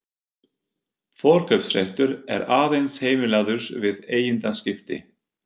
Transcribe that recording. Forkaupsréttur er aðeins heimilaður við eigendaskipti.